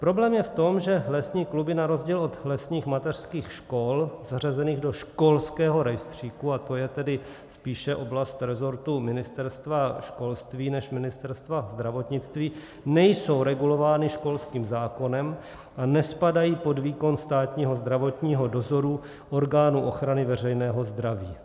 Problém je v tom, že lesní kluby na rozdíl od lesních mateřských škol zařazených do školského rejstříku, a to je tedy spíše oblast resortu Ministerstva školství než Ministerstva zdravotnictví, nejsou regulovány školským zákonem a nespadají pod výkon státního zdravotního dozoru orgánu ochrany veřejného zdraví.